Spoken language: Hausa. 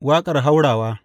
Waƙar haurawa.